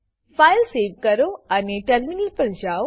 file save કરો અને terminal પર જાઓ